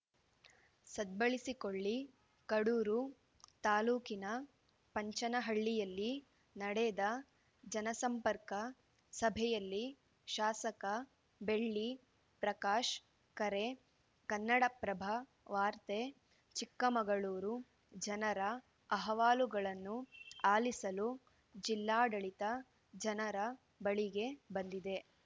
ಸದ್ಬಳಸಿಕೊಳ್ಳಿ ಕಡೂರು ತಾಲೂಕಿನ ಪಂಚನಹಳ್ಳಿಯಲ್ಲಿ ನಡೆದ ಜನಸಂಪರ್ಕ ಸಭೆಯಲ್ಲಿ ಶಾಸಕ ಬೆಳ್ಳಿ ಪ್ರಕಾಶ್‌ ಕರೆ ಕನ್ನಡಪ್ರಭ ವಾರ್ತೆ ಚಿಕ್ಕಮಗಳೂರು ಜನರ ಅಹವಾಲುಗಳನ್ನು ಆಲಿಸಲು ಜಿಲ್ಲಾಡಳಿತ ಜನರ ಬಳಿಗೆ ಬಂದಿದೆ